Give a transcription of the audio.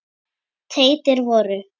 teitir voru